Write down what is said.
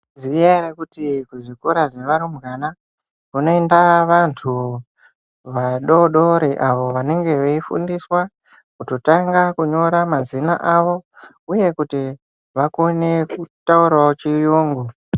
Ziyai kuti kuzvikora zvevarumbwana kunoinda vantu vadori dori avo vanenge veifundiswa kutotanga kunyora mazina avo uye kuti vakone kutaurawo chiyungu.